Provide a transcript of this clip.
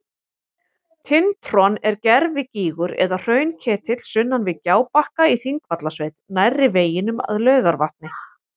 Tintron er gervigígur eða hraunketill sunnan við Gjábakka í Þingvallasveit nærri veginum að Laugarvatni.